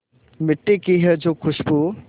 मिट्टी की है जो खुशबू